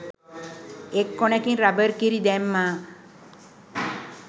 එක් කොනකින් රබර් කිරි දැම්මා.